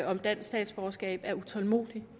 om dansk statsborgerskab er utålmodig